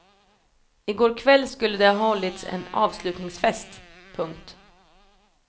I går kväll skulle det ha hållits en avslutningsfest. punkt